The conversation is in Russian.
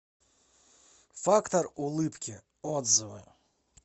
фактор улыбки отзывы